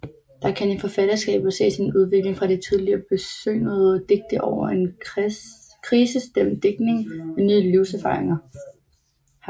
Der kan i forfatterskabet ses en udvikling fra de tidlige besyngende digte over en krisestemt digtning ved nye livserfaringer